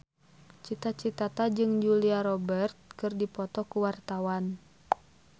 Cita Citata jeung Julia Robert keur dipoto ku wartawan